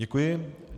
Děkuji.